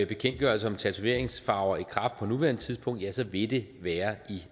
bekendtgørelse om tatoveringsfarver i kraft på nuværende tidspunkt ja så vil det være